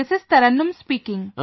This is Taranum speaking